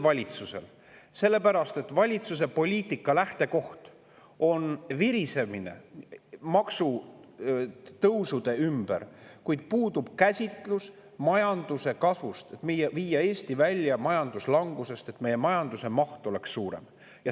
Valitsuse poliitika lähtekoht on virisemine maksutõusude ümber, kuid puudub käsitlus majanduse kasvust, et viia Eesti välja majanduslangusest, nii et meie majanduse maht oleks suurem.